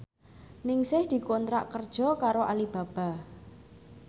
Ningsih dikontrak kerja karo Alibaba